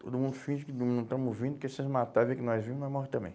Todo mundo finge que não não estamos ouvindo, que se eles matar, vê que nós vimos, nós morre também.